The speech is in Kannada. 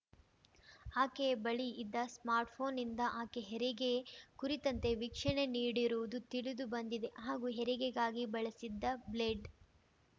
ಆಕೆಯ ಬಳಿ ಇದ್ದ ಸ್ಮಾರ್ಟ್‌ಫೋನ್‌ನಿಂದ ಆಕೆ ಹೆರಿಗೆ ಕುರಿತಂತೆ ವೀಕ್ಷಣೆ ನೀಡಿರುವುದು ತಿಳಿದು ಬಂದಿದೆ ಹಾಗೂ ಹೆರಿಗೆಗಾಗಿ ಬಳಸಿದ್ದ ಬ್ಲೇಡ್